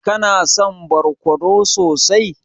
Kana son barkono sosai?